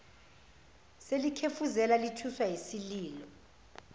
selikhefuzela lithuswa yisililo